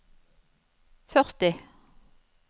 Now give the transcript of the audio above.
førti